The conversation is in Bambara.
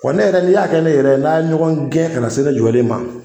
Kɔ ne yɛrɛ ni y'a kɛ ne yɛrɛ n'a ye ɲɔgɔn gɛn ka na se ne jɔlen ma